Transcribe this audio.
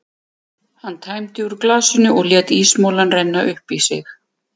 Hann tæmdi úr glasinu og lét ísmolann renna upp í sig.